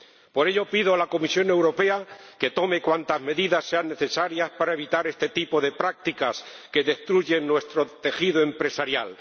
Por ello, pido a la Comisión Europea que tome cuantas medidas sean necesarias para evitar este tipo de prácticas que destruyen nuestro tejido empresarial.